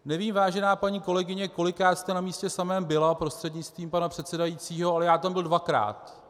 Nevím, vážená paní kolegyně, kolikrát jste na místě samém byla, prostřednictvím pana předsedajícího, ale já tam byl dvakrát.